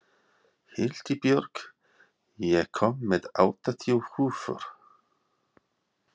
Hildibjörg, ég kom með áttatíu húfur!